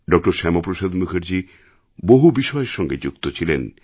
ড শ্যামাপ্রসাদ মুখার্জি বহু বিষয়ের সঙ্গে যুক্ত ছিলেন